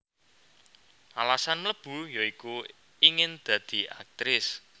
Alasan mlebu ya iku ingin dadi Aktris